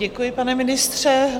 Děkuji, pane ministře.